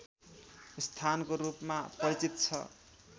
स्थानको रूपमा परिचित छ